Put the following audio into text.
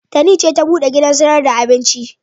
Tani ce ta buɗe wancan gidan sayar da abincin.